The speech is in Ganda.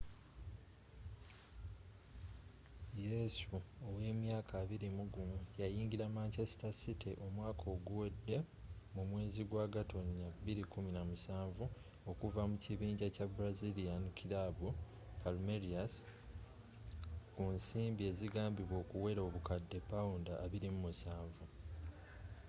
yesu owa emyaka 21 yayingira manchester city omwaka oguwede mu mwezi gwa gatonnya 2017 okuva mu kibinja kya brazilian kilaabu palmeiras ku nsimbi ezigambibwa okuwera obukadde £27